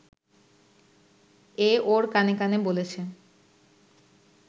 এ ওর কানে কানে বলেছে